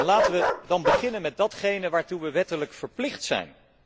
Laten wij dan beginnen met datgene waartoe wij wettelijk verplicht zijn.